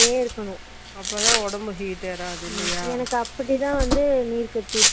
கண்டிப்பா நா வாரத்துக்கு மூண்ணுருவாக்கு நான்னுருவாய்க்கு